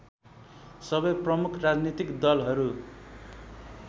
सबै प्रमुख राजनीतिक दलहरू